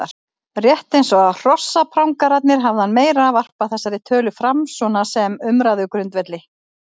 Rétt eins og hrossaprangararnir hafði hann meira varpað þessari tölu fram svona sem umræðugrundvelli.